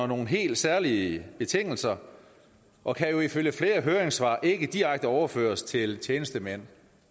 nogle helt særlige betingelser og kan jo ifølge flere høringssvar ikke direkte overføres til tjenestemænd